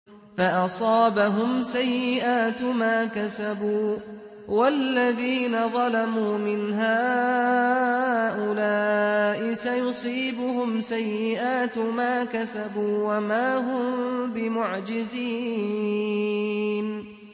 فَأَصَابَهُمْ سَيِّئَاتُ مَا كَسَبُوا ۚ وَالَّذِينَ ظَلَمُوا مِنْ هَٰؤُلَاءِ سَيُصِيبُهُمْ سَيِّئَاتُ مَا كَسَبُوا وَمَا هُم بِمُعْجِزِينَ